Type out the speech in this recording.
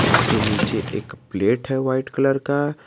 उसके नीचे एक प्लेट है वाइट कलर का।